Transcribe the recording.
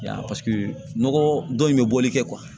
Ya paseke nɔgɔ dɔ in bɛ bɔli kɛ